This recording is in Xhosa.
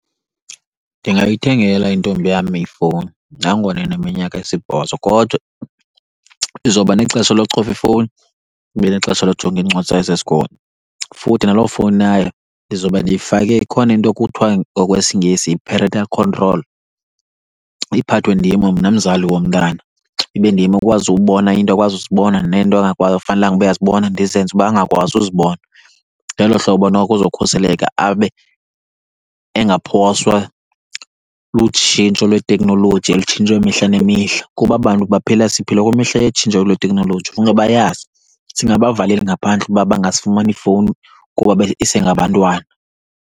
Ndingayithengela intombi yam ifowuni nangona ineminyaka esibhozo, kodwa izoba nexesha locofa ifowuni ibe nexesha lokujongana iincwadi zayo zesikolo. Futhi naloo fowuni yayo ndizobe ndiyifake, ikhona into ekuthiwa ngokwesiNgesi yi-parental control, iphathwe ndim mna mzali womntana. Ibe ndim okwazi ubona iinto akwazi uzibona neento fanelanga ukuba uyazibona ndizenze uba angakwazi uzibona. Ngelo hlobo noko uzokhuseleka abe engaphoswa lutshintsho lweteknoloji elutshintshwa imihla nemihla. Kuba aba bantu baphila, siphila kwimihla yetshintsho lweteknoloji, funeke bayazi, singabavaleli ngaphandle ukuba bangazifumani iifowuni kuba isengabantwana.